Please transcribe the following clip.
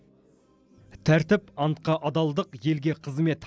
тәртіп антқа адалдық елге қызмет